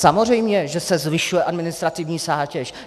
Samozřejmě že se zvyšuje administrativní zátěž.